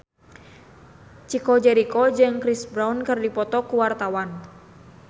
Chico Jericho jeung Chris Brown keur dipoto ku wartawan